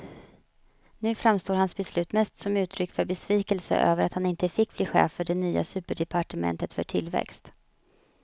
Nu framstår hans beslut mest som uttryck för besvikelse över att han inte fick bli chef för det nya superdepartementet för tillväxt.